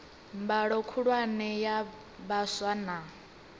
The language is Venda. mbalo khulwane ya vhaswa na